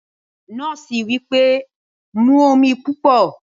Drink plenty of water! the nurse said